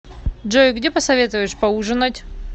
джой где посоветуешь поужинать